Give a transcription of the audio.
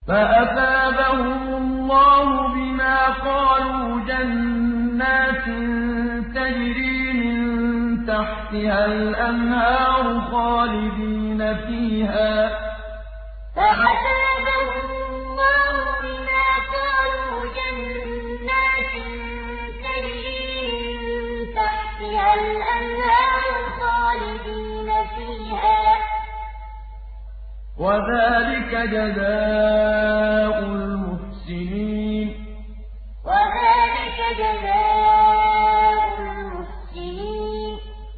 فَأَثَابَهُمُ اللَّهُ بِمَا قَالُوا جَنَّاتٍ تَجْرِي مِن تَحْتِهَا الْأَنْهَارُ خَالِدِينَ فِيهَا ۚ وَذَٰلِكَ جَزَاءُ الْمُحْسِنِينَ فَأَثَابَهُمُ اللَّهُ بِمَا قَالُوا جَنَّاتٍ تَجْرِي مِن تَحْتِهَا الْأَنْهَارُ خَالِدِينَ فِيهَا ۚ وَذَٰلِكَ جَزَاءُ الْمُحْسِنِينَ